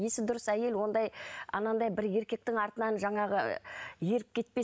есі дұрыс әйел ондай анандай бір еркектің артынан жаңағы еріп кетпес